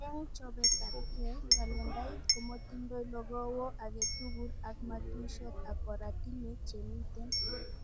Eng chobetabke, kalendait komotindoi logowo aketugul ak matuishot ak oratinwek chemiten